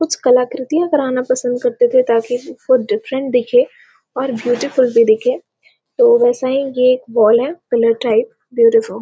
कुछ कलाकृतियां करना पसंद करते थे ताकि वह डिफरेंट दिखे और ब्यूटीफुल भी दिखे तो वैसा ही ये एक बॉल है कलर टाइप ब्यूटीफुल --